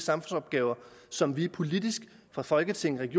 samfundsopgaver som vi politisk fra folketingets